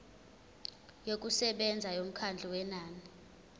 yokusebenza yomkhawulo wenani